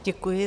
Děkuji.